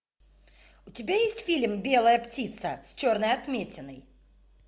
у тебя есть фильм белая птица с черной отметиной